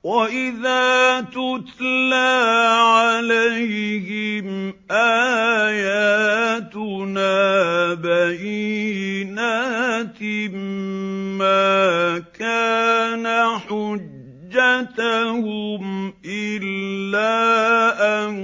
وَإِذَا تُتْلَىٰ عَلَيْهِمْ آيَاتُنَا بَيِّنَاتٍ مَّا كَانَ حُجَّتَهُمْ إِلَّا أَن